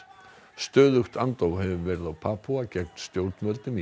stöðugt andóf hefur verið á Papúa gegn stjórnvöldum í